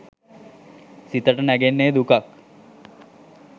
සිතට නැඟෙන්නෙ දුකක්.